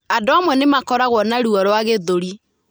Andũ amwe nĩ makoragwo na ruo rwa gĩthũri.